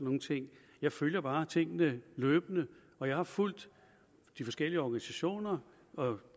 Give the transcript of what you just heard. nogle ting jeg følger bare tingene løbende og jeg har fulgt de forskellige organisationer og